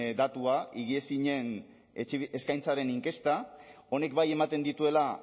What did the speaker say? datua higiezinen eskaintzaren inkesta honek bai ematen dituela